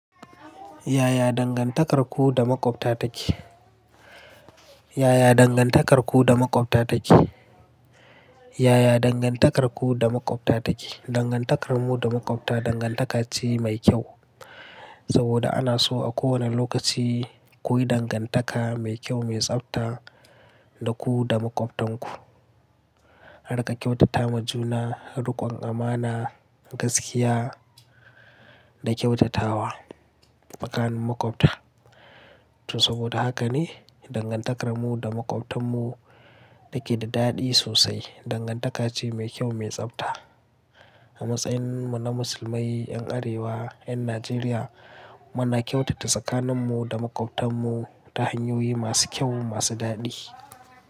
Yaya dangantakarku da maƙwabta take? Yaya dangantakarku da maƙwabta take? Yaya dangantakarku da maƙwabta take? Dangantakarmu da maƙwabta dangantaka ce mai kyau. Saboda ana so a kowane lokaci ku yi dangantaka mai kyau, mai tsafta da ku da maƙwabtanku. Harka kyautata majuna, rikon amana, gaskiya da kyautatawa tsakanin maƙwabta. To saboda haka ne dangantakarmu da maƙwabtanmu take da daɗi sosai. Dangantaka ce mai kyau, mai tsafta. A matsayinmu na Musulmai, 'yan Arewa, 'yan Najeriya muna kyautata tsakaninmu da maƙwabtarmu ta hanyoyi masu kyau, masu daɗi.